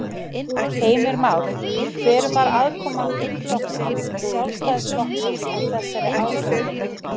Heimir Már: Hver var aðkoma þingflokks Sjálfstæðisflokksins að þessari ákvörðun?